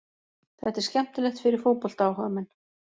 Þetta er skemmtilegt fyrir fótboltaáhugamenn.